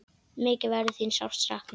Mikið verður þín sárt saknað.